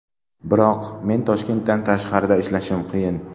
Biroq mening Toshkentdan tashqarida ishlashim qiyin.